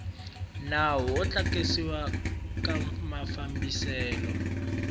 nawu wo tlakusiwa ka mafambiselo